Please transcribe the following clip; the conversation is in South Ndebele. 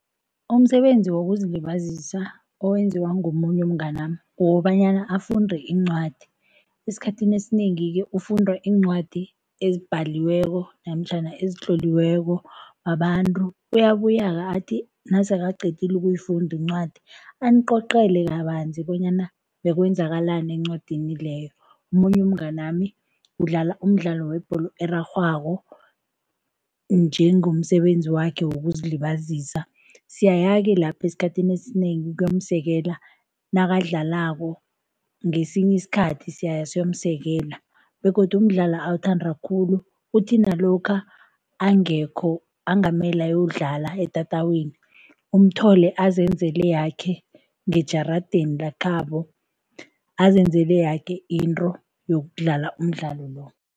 Umsebenzi wokuzilibazisa owenziwa ngomunye umnganami kukobanyana afunde iincwadi. Esikhathini esinengi-ke ufunda iincwadi ezibhaliweko namtjhana ezitloliweko babantu, uyabuya-ke athi nasekaqedile ukuyifunda incwadi, anicocele kabanzi bonyana bekwenzakalani encwadini leyo. Omunye umnganami udlala umdlalo webholo erarhwako njengomsebenzi wakhe wokuzilibazisa. Siyaya-ke lapho esikhathini esinengi ukuyomsekela nakadlalako, ngesinye isikhathi siyaya siyomsekela begodu umdlalo awuthanda khulu, uthi nalokha angekho angamele ayokudlala etatawini, umthole azenzela yakhe ngejaradeni lekhabo, azenzela yoke into yokudlala umdlalo lo.